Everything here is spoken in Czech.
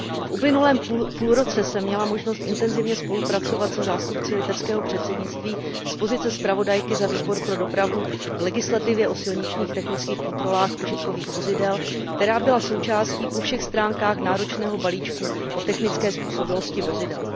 V uplynulém půlroce jsem měla možnost intenzivně spolupracovat se zástupci litevského předsednictví z pozice zpravodajky za Výbor pro dopravu a cestovní ruch k legislativě o silničních technických kontrolách užitkových vozidel, která byla součástí po všech stránkách náročného balíčku o technické způsobilosti vozidel.